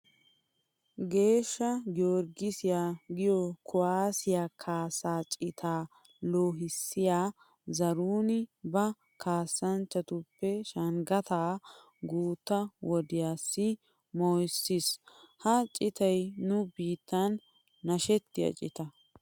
Geeshsha gorggisiya giyo kuwaasiya kaassaa citaa loohissiya Zaruuni ba kaassanchchatuppe Shanggata guutta wodiyassi mooyissiis. Ha citay nu biittan nashettiya cita.